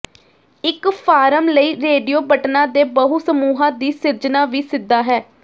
ਇੱਕ ਫਾਰਮ ਲਈ ਰੇਡੀਓ ਬਟਨਾਂ ਦੇ ਬਹੁ ਸਮੂਹਾਂ ਦੀ ਸਿਰਜਣਾ ਵੀ ਸਿੱਧਾ ਹੈ